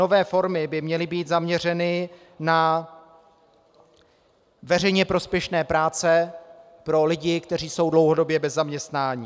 Nové formy by měly být zaměřeny na veřejně prospěšné práce pro lidi, kteří jsou dlouhodobě bez zaměstnání.